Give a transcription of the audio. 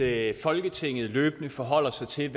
at folketinget løbende forholder sig til